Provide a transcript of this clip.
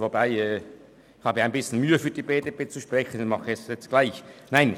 Aber ich habe etwas Mühe, für die BDP zu sprechen und tue es trotzdem – nein, doch nicht.